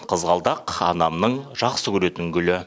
қызғалдақ анамның жақсы көретін гүлі